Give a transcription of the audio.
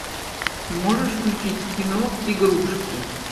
можешь включить кино игрушки